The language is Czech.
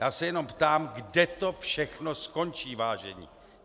Já se jenom ptám, kde to všechno skončí, vážení.